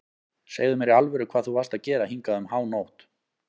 Segðu mér í alvöru hvað þú varst að gera hingað um hánótt.